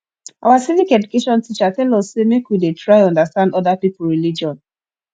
our civic education teacher tell us sey make we dey try understand oda pipo religion